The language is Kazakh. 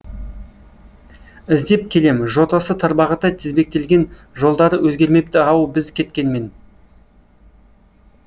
іздеп келем жотасы тарбағатай тізбектелген жолдары өзгермепті ау біз кеткенмен